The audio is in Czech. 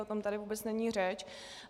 O tom tady vůbec není řeč.